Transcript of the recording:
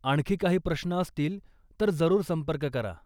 आणखी काही प्रश्न असतील तर जरूर संपर्क करा.